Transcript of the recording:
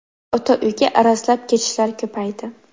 Ota uyga arazlab ketishlar ko‘paydi.